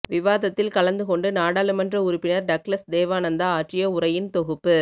விவாதத்தில் கலந்து கொண்டு நாடாளுமன்ற உறுப்பினர் டக்ளஸ் தேவானந்தா ஆற்றிய உரையின் தொகுப்பு